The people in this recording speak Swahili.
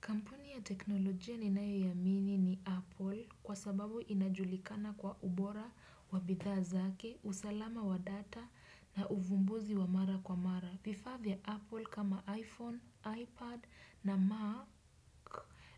Kampuni ya teknolojia ninayo iamini ni Apple kwa sababu inajulikana kwa ubora wa bidhaa zake, usalama wa data na uvumbuzi wa mara kwa mara. Vifaa vya Apple kama iPhone, iPad na Mac